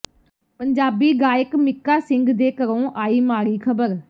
ਪੰਜਾਬੀ ਗਾਇਕ ਮੀਕਾ ਸਿੰਘ ਦੇ ਘਰੋਂ ਆਈ ਮਾੜੀ ਖਬਰ